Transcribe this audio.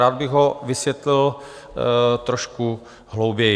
Rád bych ho vysvětlil trošku hlouběji.